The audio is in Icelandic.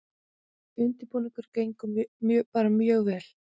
Undirbúningurinn gengur bara mjög vel